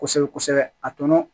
Kosɛbɛ kosɛbɛ a tɔnɔ